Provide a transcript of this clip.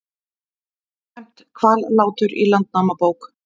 Nefnt Hvallátur í Landnámabók.